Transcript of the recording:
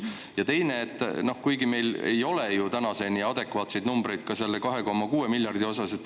Ja teiseks: meil ei ole ju tänaseni adekvaatseid numbreid selle 2,6 miljardi eraldamise osas.